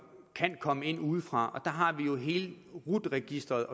kan komme ind udefra og der har vi jo hele rut registeret